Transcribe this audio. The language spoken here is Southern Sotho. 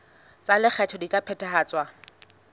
tsa lekgetho di ka phethahatswa